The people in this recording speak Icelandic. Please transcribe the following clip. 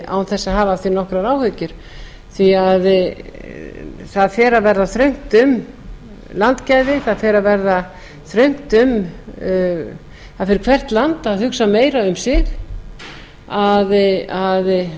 án þess að hafa af því nokkrar áhyggjur því það fer að verða þröngt um landgæði það fer að verða þröngt um fyrir hvert land að hugsa meira um sig